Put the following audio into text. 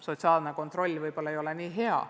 Sotsiaalne kontroll ei ole võib-olla nii hea.